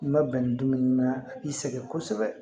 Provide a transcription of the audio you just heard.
I ma bɛn ni dumuni ma i sɛgɛn kosɛbɛ